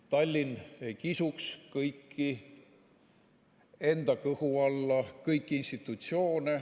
Tallinn ei kisuks kõiki institutsioone enda kõhu alla.